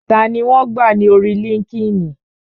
Tani wọn gbà ní orí líńki-inì?